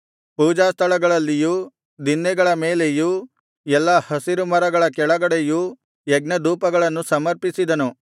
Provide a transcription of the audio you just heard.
ಪೂಜಾಸ್ಥಳಗಳಲ್ಲಿಯೂ ದಿನ್ನೆಗಳ ಮೇಲೆಯೂ ಎಲ್ಲಾ ಹಸಿರು ಮರಗಳ ಕೆಳಗಡೆಯೂ ಯಜ್ಞಧೂಪಗಳನ್ನು ಸಮರ್ಪಿಸಿದನು